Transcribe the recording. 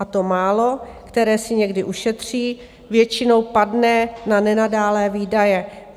A to málo, které si někdy ušetří, většinou padne na nenadálé výdaje.